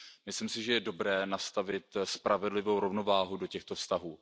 Myslím si, že je dobré nastavit spravedlivou rovnováhu do těchto vztahů.